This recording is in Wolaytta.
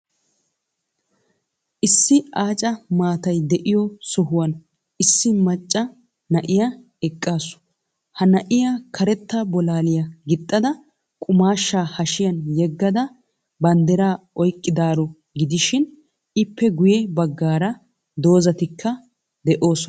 Issi aaca maatay de'iyo sohuwan Issi macca na'iya eqqaasu. Ha na'iya karetta bolaaliya gixxada, qumaashshaa hashiyan yeggada, branddiraa oyqqadaaro gidishin, ippe guyye baggaara dozatikka de'oosona.